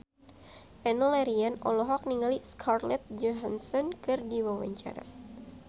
Enno Lerian olohok ningali Scarlett Johansson keur diwawancara